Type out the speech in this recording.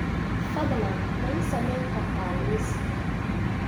fadlan ma ii samayn kartaa liis